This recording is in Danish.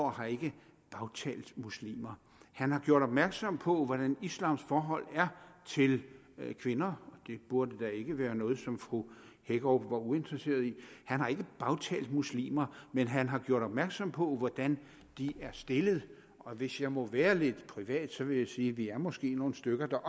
har ikke bagtalt muslimer han har gjort opmærksom på hvordan islams forhold er til kvinder og det burde da ikke være noget som fru hækkerup var uinteresseret i han har ikke bagtalt muslimer man han har gjort opmærksom på hvordan de er stillede og hvis jeg må være lidt privat vil jeg sige at vi måske er nogle stykker der